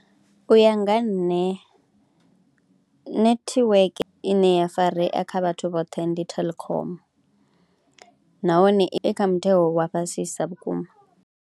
U ya nga nṋe netiweke ine ya farea kha vhathu vhoṱhe ndi Telkom nahone i kha mutengo wa fhasisa vhukuma.